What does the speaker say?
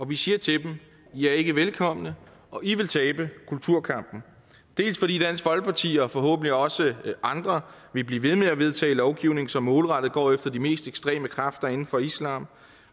vi siger til dem i er ikke velkomne og i vil tabe kulturkampen dels fordi dansk folkeparti og forhåbentlig også andre vil blive ved med at vedtage lovgivning som målrettet går efter de mest ekstreme kræfter inden for islam